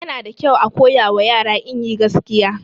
Yana da kyau a koyawa yara inyi gaskiya